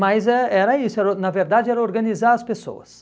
Mas é era isso era, na verdade era organizar as pessoas.